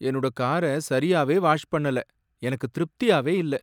என்னோட கார சரியாவே வாஷ் பண்ணலை, எனக்கு திருப்தியாவே இல்லை.